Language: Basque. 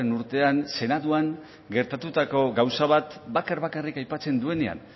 urtean senatuan gertatutako gauza bat bakar bakarrik aipatzen duenean